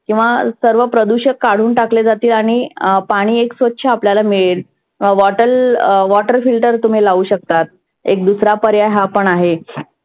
किंवा सर्व प्रदुषक काढुन टाकले जाते आणि पाणि एक स्वच्छ आपल्याला मिळेल. bottol water filter तुम्ही लावू शकतात. एक दुसरा पर्याय हा पण आहे.